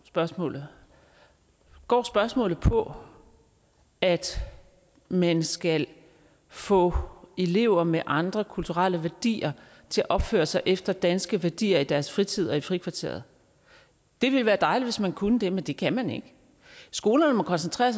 spørgsmålet går spørgsmålet på at man skal få elever med andre kulturelle værdier til at opføre sig efter danske værdier i deres fritid og frikvartererne det ville være dejligt hvis man kunne det men det kan man ikke skolerne må koncentrere